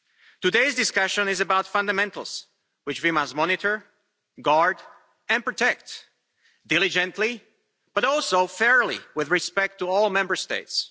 Today's discussion is about fundamentals, which we must monitor, guard and protect diligently, but also fairly, with respect to all Member States.